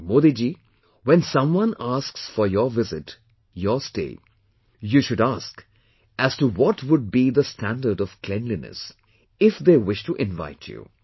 Modi ji, when someone asks for your visit , your stay, you should ask as to what would be the standard of cleanliness, if they wish to invite you